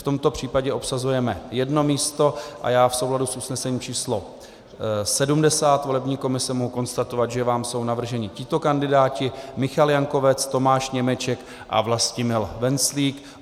V tomto případě obsazujeme jedno místo a já v souladu s usnesením číslo 70 volební komise mohu konstatovat, že vám jsou navrženi tito kandidáti: Michal Jankovec, Tomáš Němeček a Vlastimil Venclík.